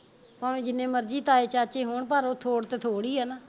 ਭਾਵੇ ਜਿੰਨੇ ਮਰਜੀ ਤਾਏ ਚਾਚੇ ਹੋਣ ਪਰ ਉਹ ਥੋੜ ਤੇ ਥੋੜ ਈ ਆ ਨਾ